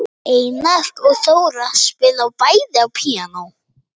Einar og Þóra spila bæði á píanó.